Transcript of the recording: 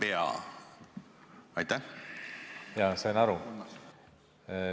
Jaa, sain aru!